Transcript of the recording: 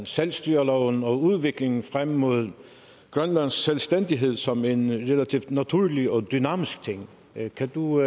selvstyreloven og udviklingen frem mod grønlands selvstændighed som en relativt naturlig og dynamisk ting kan du